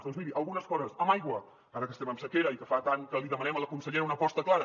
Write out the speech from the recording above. doncs miri algunes coses amb aigua ara que estem en sequera i que fa tant que li demanem a la consellera una aposta clara